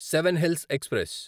seven hills express